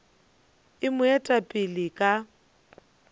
e mo eta pele ka